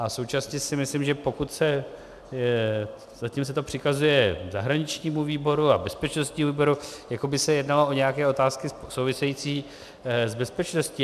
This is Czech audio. A současně si myslím, že pokud se - zatím se to přikazuje zahraničnímu výboru a bezpečnostnímu výboru, jako by se jednalo o nějaké otázky související s bezpečností.